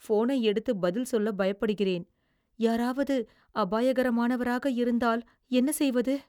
ஃபோனை எடுத்துப் பதில் சொல்ல பயப்படுகிறேன். யாராவது அபாயகரமானவராக இருந்தால் என்ன செய்வது?